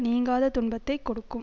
நீங்காத துன்பத்தை கொடுக்கும்